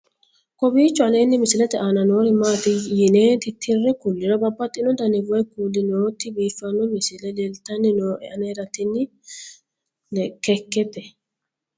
kowiicho aleenni misilete aana noori maati yine titire kulliro babaxino dani woy kuuli nooti biiffanno misile leeltanni nooe anera tino kekete